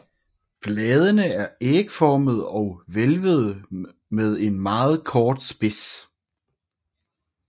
Bladene er ægformede og hvælvede med en meget kort spids